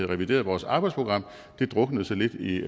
revideret vores arbejdsprogram druknede så lidt i